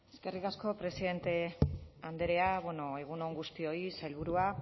eskerrik asko presidente andrea egun on guztioi sailburua